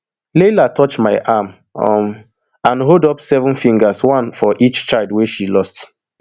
laila touch my arm um and hold up seven fingers one for each child wey she lost